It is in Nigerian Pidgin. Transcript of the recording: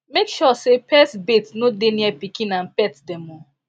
make sure say pes bait no dey near pikin and pet dem o